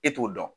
E t'o dɔn